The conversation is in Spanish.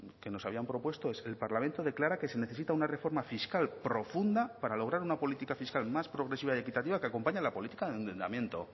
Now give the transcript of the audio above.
que nos habían propuesto es el parlamento declara que se necesita una reforma fiscal profunda para lograr una política fiscal más progresiva y equitativa que acompañe a la política de endeudamiento